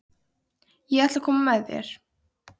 Ég ætla að koma með þér!